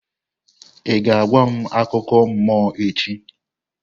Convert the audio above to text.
Ị ga-agwa m akụkọ mmụọ echi?